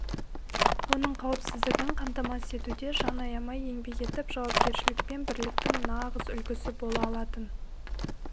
оның қауіпсіздігін қамтамасыз етуде жан аямай еңбек етіп жауапкершілік пен бірліктің нағыз үлгісі бола алатын